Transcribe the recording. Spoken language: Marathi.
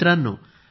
मित्रांनो